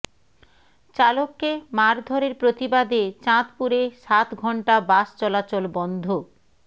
চালককে মারধরের প্রতিবাদে চাঁদপুরে সাত ঘণ্টা বাস চলাচল বন্ধ